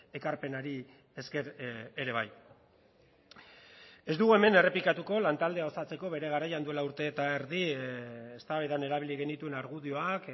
ekarpenari esker ere bai ez dugu hemen errepikatuko lantaldea osatzeko bere garaian duela urte eta erdi eztabaidan erabili genituen argudioak